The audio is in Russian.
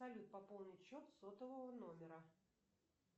салют пополнить счет сотового номера